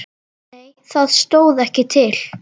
Nei það stóð ekki til.